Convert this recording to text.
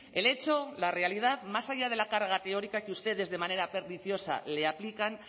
el hecho la realidad más allá de la carga teórica que ustedes de manera perniciosa le aplican